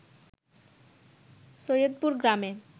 সৈয়দপুর গ্রামে